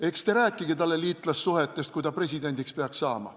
Eks te rääkige talle liitlassuhetest, kui ta presidendiks peaks saama.